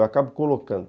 Eu acabo colocando.